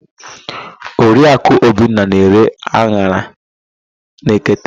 Oriakụ Obinna na-ere an̄ara na nkata.